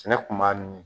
Sɛnɛ kun b'a min